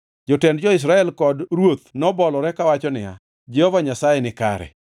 Jotend jo-Israel kod ruoth nobolore kawacho niya, “Jehova Nyasaye ni kare.”